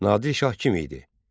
Nadir şah kim idi?